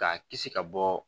K'a kisi ka bɔ